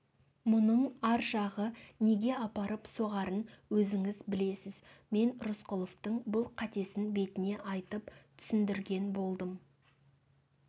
мұның ар жағы неге апарып соғарын өзіңіз білесіз мен рысқұловтың бұл қатесін бетіне айтып түсіндірген болдым